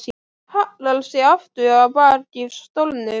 Hallar sér aftur á bak í stólnum.